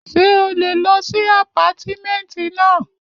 Ṣé o lè lọ sí àpátímẹ̀ntì náà?